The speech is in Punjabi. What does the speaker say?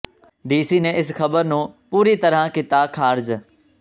ਡੀ ਸੀ ਨੇ ਇਸ ਖਬਰ ਨੂੰ ਪੂਰੀ ਤਰ੍ਹਾਂ ਕੀਤਾ ਖਾਰਜ